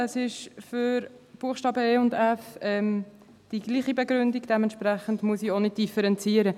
Es ist für die Buchstaben e und f dieselbe Begründung, dementsprechend muss ich nicht differenzieren.